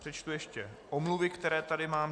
Přečtu ještě omluvy, které tady mám.